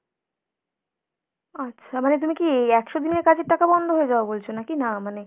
আচ্ছা, মানে তুমি কি একশো দিনের কাজের টাকা বন্ধ হয়ে যাওয়া বলছো নাকি! না মানে।